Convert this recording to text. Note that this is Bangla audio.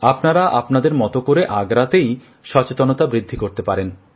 আপনারা আপনাদের মত করে আগ্রাতেই সচেতনতা বৃদ্ধি করতে পারেন